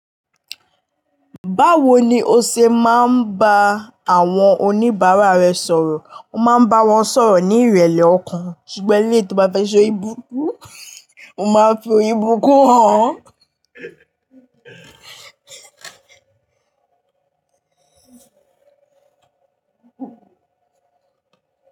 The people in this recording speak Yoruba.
Báwo ni o ṣe máa ń bá àwọn oníbàárà rẹ sọ̀rọ̀? O máa ń bá wọn sọ̀rọ̀ ní ìrẹlẹ ọkàn, ṣùgbọ́n èléyìí tó bá fẹ́ ṣe orí burúkú, o máa fi orí burúkú hàn wan.